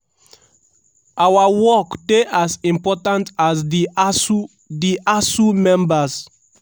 "our work dey as important as di asuu di asuu members.